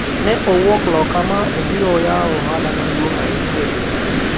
ne owuok loka ma obiro yawo ohala maduong' ahinya e boma